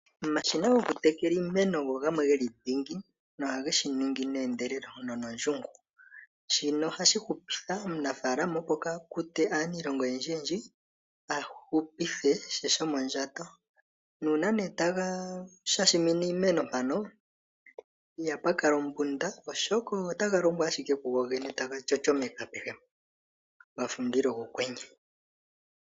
Omashina goku tekela iimeno ogamwe geli dhingi nohage shi ningi ne endelelo nono ndjungu, shino ohashi hupitha omunafalamo opo kaakute aanilonga oyendji yendji a hupithe she shomo ndjato. Nuuna taga shashimine iimeno mpano ihapu kala ombunda oshoka otaga longo ashike kugo gene taga shoshomeke apehe mpo, gafa omundilo gokwenye.